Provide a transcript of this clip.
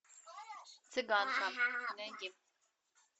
цыганка найди